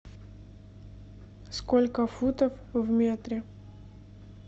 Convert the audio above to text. сколько футов в метре